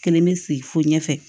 Kelen be sigi fo ɲɛfɛ